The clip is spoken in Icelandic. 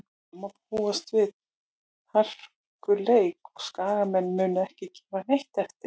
Það má búast við hörkuleik og Skagamenn munu ekki gefa neitt eftir.